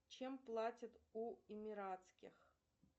чем платят у эмиратских